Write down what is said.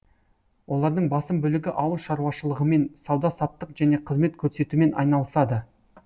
олардың басым бөлігі ауыл шаруашылығымен сауда саттық және қызмет көрсетумен айналысады